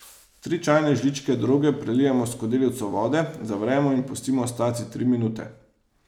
Tri čajne žličke droge prelijemo s skodelico vode, zavremo in pustimo stati tri minute.